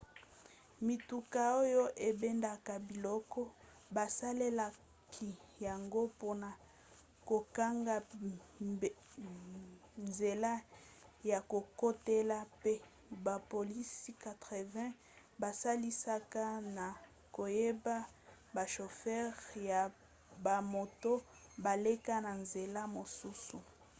mituka oyo ebendaka biloko basalelaki yango mpona kokanga nzela ya kokotela mpe bapolisi 80 basalisaka na koyeba bashofere ya bamoto baleka na nzela mosusu